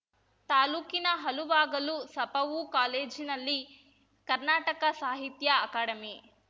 ತಾಲೂಕಿನ ಹಲುವಾಗಲು ಸಪಪೂ ಕಾಲೇಜಿನಲ್ಲಿ ಕರ್ನಾಟಕ ಸಾಹಿತ್ಯ ಅಕಾಡೆಮಿ